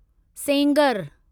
Sengar